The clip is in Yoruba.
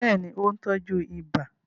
Bẹ́ẹ̀ ni, ó ń tọ́jú ibà